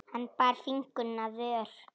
Hann bar fingur að vör.